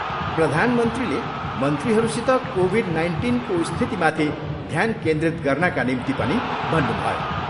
प्रधानमन्त्रीले मन्त्रीहरूसित कोभिड नाइन्टिनको स्थितिमाथि ध्यान केन्द्रित गर्नाका निम्ति पनि भन्नुभयो।